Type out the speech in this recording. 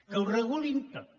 que ho regulin tot